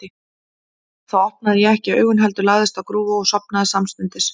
Þá opnaði ég ekki augun, heldur lagðist á grúfu og sofnaði samstundis.